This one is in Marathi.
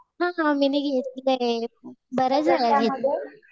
हा मी घेतलंय. बऱ्याचवेळा घेतलंय.